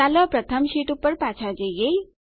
ચાલો પ્રથમ શીટ પર પાછા જઈએ